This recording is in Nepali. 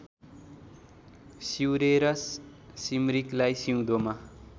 सिउरेर सिम्रिकलाई सिउँदोमा